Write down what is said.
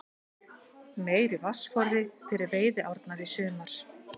Meiri vatnsforði fyrir veiðiárnar í sumar